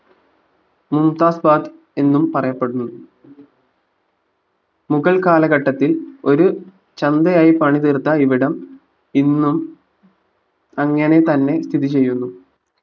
Mumtaz square എന്നും പറയപ്പെടുന്നു മുകൾ കാലഘട്ടത്തിൽ ഒരു ചന്തയായി പണി തീർത്ത ഇവിടം ഇന്നും അങ്ങനെ തന്നെ സ്ഥിതി ചെയ്യുന്നു